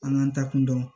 An k'an ta kun dɔn